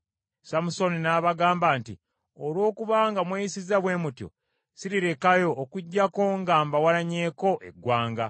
Samusooni n’abagamba nti, “Olw’okuba nga mweyisizza bwe mutyo, sirirekayo okuggyako nga mbawalanyeeko eggwanga.”